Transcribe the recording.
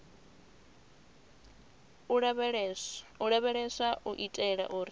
u lavheleswa u itela uri